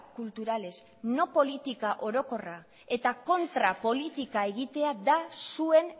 culturales no política orokorra eta kontra politika egitea da zuen